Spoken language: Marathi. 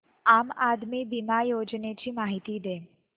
आम आदमी बिमा योजने ची माहिती दे